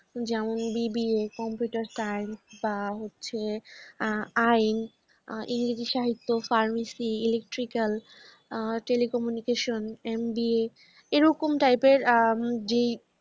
যেমন BBA computer science বা হচ্ছে আ আইন, আ ইংরেজি সাহিত্য, pharmacy, electrical, telecommunication, MBA এরকম type র অ্যা জী